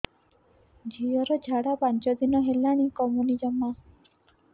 ଝିଅର ଝାଡା ପାଞ୍ଚ ଦିନ ହେଲାଣି କମୁନି ଜମା